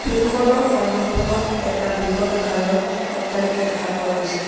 ফিল্ডখনৰ সন্মুখভাগত এটা বৃহৎ আকাৰৰ অট্টালিকা দেখা পোৱা গৈছে।